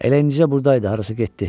Elə indidə burdaydı, harasa getdi.